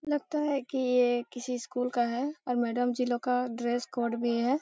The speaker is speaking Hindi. लगता है कि ये किसी स्कूल का है और मैडम जी लोग का ड्रेस कोड भी है।